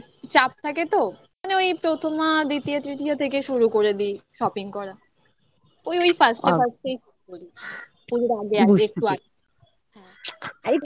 চাপ থাকে তো মানে ওই প্রথমা দ্বিতীয় তৃতীয় থেকে শুরু করে দিই shopping করা ওই ওই পাঁচটা পাশ থেকে আগে আগে আরে আগে